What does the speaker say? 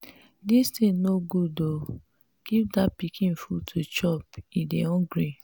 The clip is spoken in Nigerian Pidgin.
dis thing no good oo. give dat pikin food to chop he dey hungry.